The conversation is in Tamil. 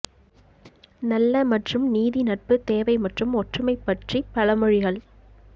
நல்ல மற்றும் நீதி நட்பு தேவை மற்றும் ஒற்றுமை பற்றி பழமொழிகள்